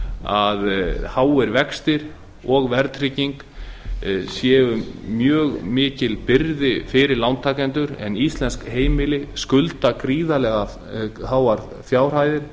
að háir vextir og verðtrygging séu mjög mikil byrði fyrir lántakendur en íslensk heimili skulda gríðarlega háar fjárhæðir